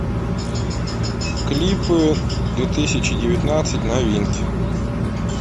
клипы две тысячи девятнадцать новинки